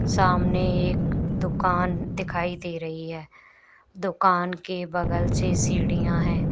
सामने एक दुकान दिखाई दे रही है दुकान के बगल से सीढ़ियां हैं।